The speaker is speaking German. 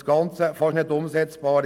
Das Gesetz ist fast nicht umsetzbar.